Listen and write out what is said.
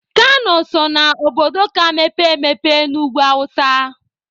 Kano so na obodo ka mepee emepe n'ugwu awụsa.